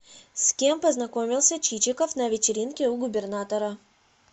с кем познакомился чичиков на вечеринке у губернатора